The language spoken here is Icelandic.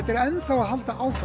enn að halda áfram